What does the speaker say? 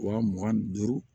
Wa mugan ni duuru